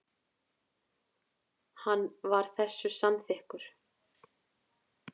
Hann var þessu samþykkur.